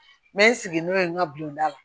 N bɛ n sigi n'o ye n ka bilɔnda la